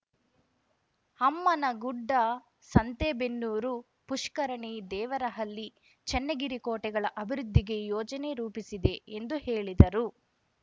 ಅಮ್ಮನಗುಡ್ಡ ಸಂತೇಬೆನ್ನೂರು ಪುಷ್ಕರಣಿ ದೇವರಹಳ್ಳಿ ಚನ್ನಗಿರಿ ಕೋಟೆಗಳ ಅಭಿವೃದ್ಧಿಗೆ ಯೋಜನೆ ರೂಪಿಸಿದೆ ಎಂದು ಹೇಳಿದರು